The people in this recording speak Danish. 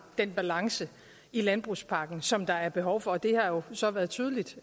den balance i landbrugspakken som der er behov for og det har så været tydeligt